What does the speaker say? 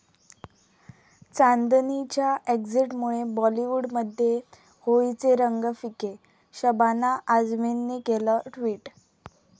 चांदनी'च्या एक्झिटमुळे बाॅलिवूडमध्ये होळीचे रंग फिके, शबाना आझमींनी केलं ट्विट